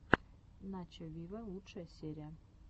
начо виво лучшая серия